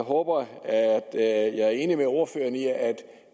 håber at jeg er enig med ordføreren i at